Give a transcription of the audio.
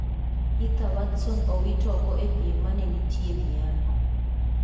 Heather Watson owit oko e piem ma ne nitie Miami.